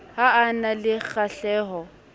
ha a na le kgahleho